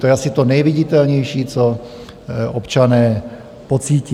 To je asi to nejviditelnější, co občané pocítí.